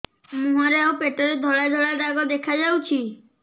ମୁହଁରେ ଆଉ ପେଟରେ ଧଳା ଧଳା ଦାଗ ଦେଖାଯାଉଛି